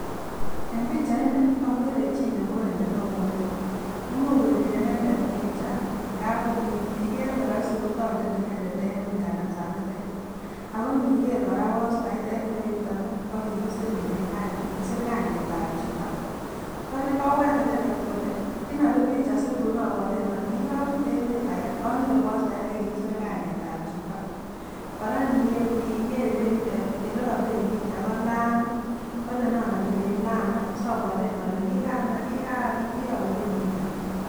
En pichaini okeree chii nemuren netonone, imuuch kebiree inendet picha ngab inikeer koroisi ko tondet inendet en nganasitet, ak ko indikeer kora postait en ireyuton ko kikisir kainetab chito, oleen kobwaat inendet kolee inobir picha situn obwoten olee kikorute emet akee anyoru postait akee nekikisir kainetab chito, kora niboikeer ireyutet elee kobiren picha ko lamiit, kolee nen obireen laam sobwoten olee kiobiren picha laam.